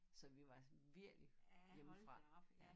Så vi var sådan virkelig hjemmefra ja